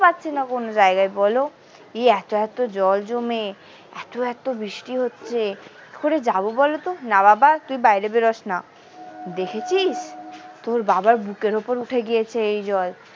পাচ্ছিনা কোনো জায়গায় বলো এই এত এত জল জমে এত এত বৃষ্টি হচ্ছে কি করে যাবো বলতো না বাবা তুই বাইরে বেরোসনা দেখেছিস তোর বাবার বুকের উপর উঠে গিয়েছে এই জল।